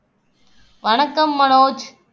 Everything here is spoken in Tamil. வணக்கம் மனோஜ்